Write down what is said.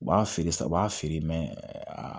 U b'a feere sisan u b'a feere a